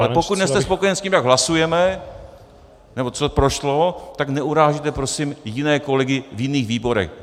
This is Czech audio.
Ale pokud nejste spokojen s tím, jak hlasujeme nebo co prošlo, tak neurážejte prosím jiné kolegy v jiných výborech.